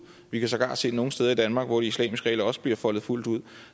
vi kan sågar se det nogle steder i danmark hvor de islamiske regler også bliver foldet fuldt ud